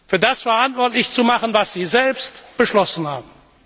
für das verantwortlich zu machen, was sie selbst beschlossen haben.